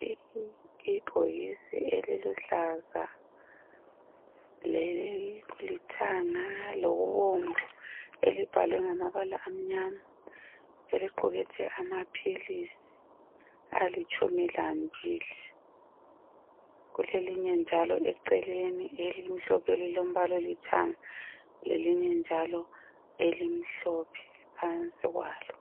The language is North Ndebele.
Ibhokisi eliluhlaza lelilithanga lokubomvu elibhalwe ngamabala amnyama eliqukethe amaphilisi alitshumi lambili kulelinye njalo eceleni elimhlophe elilombala olithanga lelinye njalo elimhlophe phansi kwalo